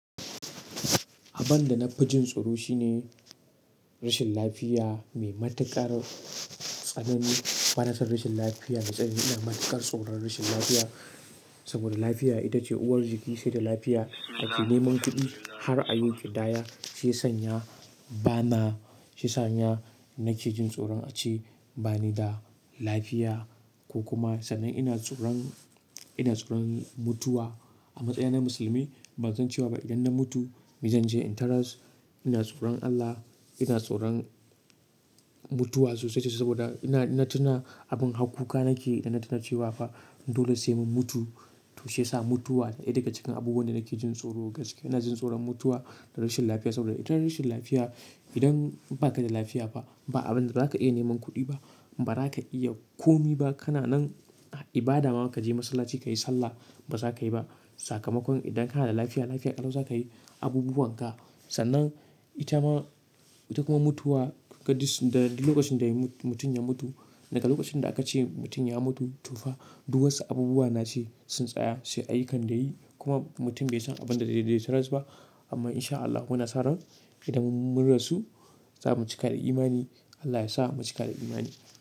Abin da na fi jin tsoro shine rashin lafiya mai matuƙar tsananin. Banason rashin lafiya na tsani ina matuƙar tsoron rashin lafiya. Saboda lafiya ita ce uwar jiki, sai da lafiya za ka iya neman kuɗi. Har a yau ki daya sai sanya bana, sai sanya nake jin tsoron a ce bani da lafiya ko kuma sannan ina tsoron, ina tsoron mutuwa. A matsayina na musulmi ban san cewa ba idan na mutu, mai zanje in taras, ina tsoron Allah, ina tsoron mutuwa sosai sosai saboda ina, ina tuna abin harkuka nake idan na tuna cewa fa dole sai mun mutu. To shi ya sa mutuwa daya daga cikin abubuwan da nake jin tsoro gaske. Ina jin tsoron mutuwa da rashin lafiya saboda ita rashin lafiya idan baka da lafiya fah ba abunda zaka iya neman kudi ba baza ka iya komai ba kana nan ibada ma ka je masallaci ka yi sallah ba za ka yi ba. Sakamakon idan kana da lafiya, lafiya ƙalo za ka yi abubuwan ka. Sannan ita ma, ita kuma mutuwa ƙaɗis daga lokacin da mutum ya mutu, daga lokacin da aka ce mutum ya mutu to fa duk wasu abubuwa nace sun tsaya, sai ayyukan da yayi. Kuma mutum bai san abin da zai je ya taras ba. Amma in sha Allah kuna sa ran idan mun rasu za mu cika da imani, Allah ya sa mu cika da imani.